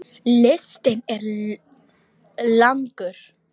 Listinn er langur.